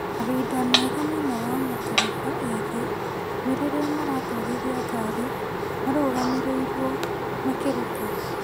Mahinda mega mũno wa matereba ethĩ ni rĩrĩa maratwarithia ngari marũgamĩrĩirwo makĩruta.